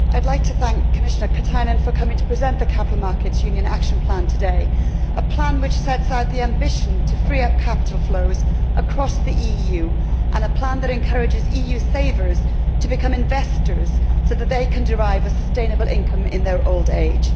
Mr President, I would like to thank Commissioner Katainen for coming to present the Capital Markets Union action plan today, a plan which sets out the ambition to free up capital flows across the EU, and a plan which encourages EU savers to become investors so that they can derive a sustainable income in their old age.